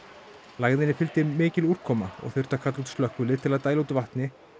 lægðinni fylgdi mikil úrkoma og þurfti að kalla út slökkvilið til að dæla vatni